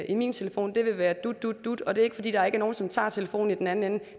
i min telefon være dut dut dut og det er ikke fordi der ikke er nogen som tager telefonen i den anden ende